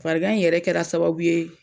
Farigan in yɛrɛ kɛra sababu ye